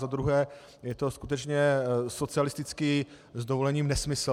Za druhé je to skutečně socialistický - s dovolením - nesmysl.